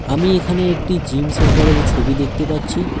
আমি এখানে একটি জিম সেন্টারের ছবি দেখতে পাচ্ছি।